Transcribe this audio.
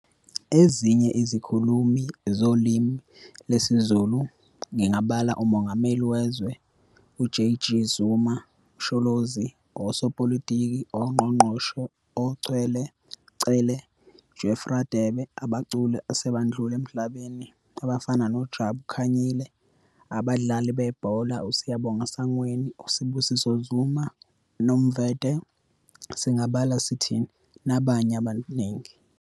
Ezinye izikhulumi zolimi lwesiZulu ngingabala uMongameli wezwe uJG Zuma, Msholozi, osopolitiki ongqongqoshe oCwele, Cele, Jeff Radebe, abaculi esebadlula emhlabeni abafana noJabu Khanyile, abadlali bebhola uSiyabonga Sangweni, uSibisiso Zuma, Nomvethe singabala sithini nabanye abaningi.